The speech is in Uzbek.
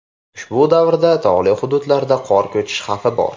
Ushbu davrda tog‘li hududlarda qor ko‘chishi xavfi bor.